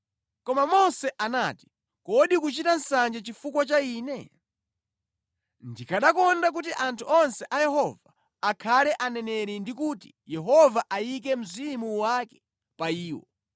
Koma Mose anati, “Kodi ukuchita nsanje chifukwa cha ine? Ndikanakonda kuti anthu onse a Yehova akhale aneneri ndi kuti Yehova ayike mzimu wake pa iwo!”